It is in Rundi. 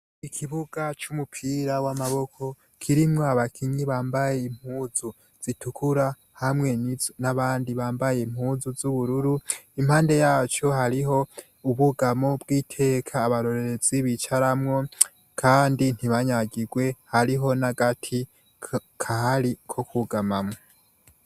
Ikibuga c' umupira w' amaboko kirimwo abakinyi bambaye impuzu zitukura, hamwe n' abandi bambaye impuzu z' ubururu, impande yaco hariho ubwugamo bw' iteka abarorerezi bicamwo kandi ntibanyagirwe, hariho n' agati kahari ko kwugamamwo.